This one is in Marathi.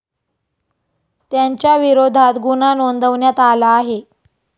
त्यांच्याविरोधात गुन्हा नोंदवण्यात आला आहे.